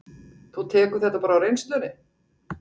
Þú tekur þetta bara á reynslunni?